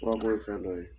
Furabɔ ye fɛn dɔ ye